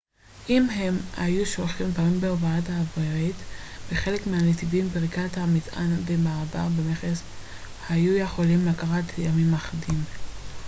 אם הם היו שולחים דברים בהובלה אווירית בחלק מהנתיבים פריקת המטען והמעבר במכס היו יכולים לקחת ימים אחדים